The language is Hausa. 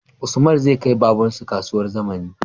Usman zai kai babar su kasuwar zamani